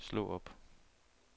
slå op